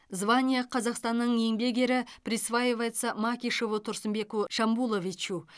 звание қазақстанның еңбек ері присваивается макишеву турсынбеку шамбуловичу